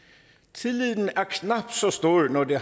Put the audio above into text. tilliden er knap så stor når det